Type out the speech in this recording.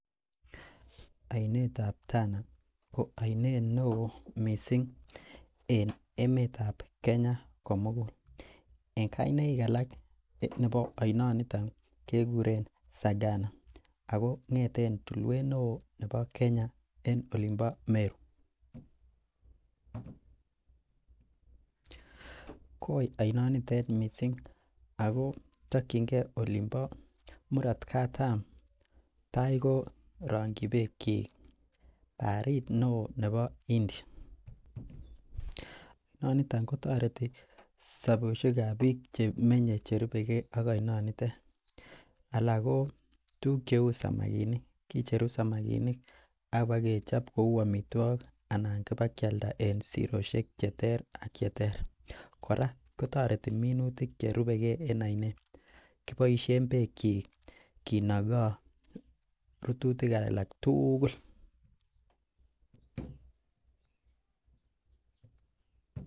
Oinet ap Tana ko oinet neo mising en emet ap Kenya komugul en kainaik alak nepo oinoniton kekuren Sagana ako ngeten tulwet neon nebo Kenya en olonpo meru. koi oinoniten mising akotokchingei alinpo murot katam taikorongchi peekchii baharit neo nepo Indian nonito kotoreti sopeshek ap piik chemenyei cherupekei ak oinoniton alak ko tikuk cheu samakinik kucheru samakinik apakechop kou amitwokik anan pika kealda en siroshekek cheter ak cheter kora kotoreti minutik cherupekee en oinet kopoishe peek chii kinokoi rututik alak tugul.